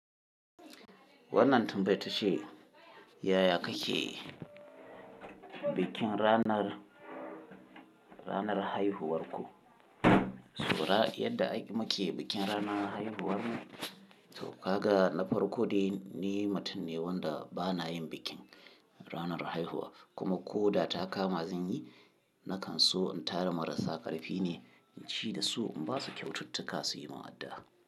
Wannan tambayata ce, yaya kake bikin ranar, ranar haihuwarku? To, yadda muke bikin ranar haihuwarmu, to kaga na farko dai ni mutum ne wanda bana yin bikin ranar haihuwa kuma ko da kama zan yi, na kan so in tara marasa ƙarfi ne in ci da su in ba su kyaututtuka su yi min addu'a.